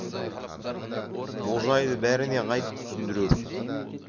бұл жайды бәріне қайтіп түсіндірерсің